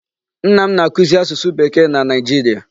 Nna m na-akụzị asusu Bekee na Nigeria.